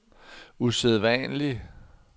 usædvanlig